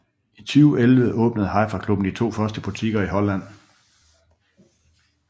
I 2011 åbnede HiFi Klubben de første to butikker i Holland